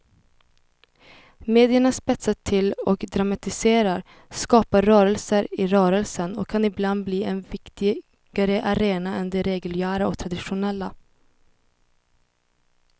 Medierna spetsar till och dramatiserar, skapar rörelser i rörelsen och kan ibland bli en viktigare arena än de reguljära och traditionella.